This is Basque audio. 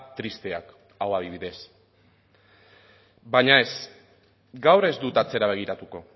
tristeak hau adibidez baina ez gaur ez dut atzera begiratuko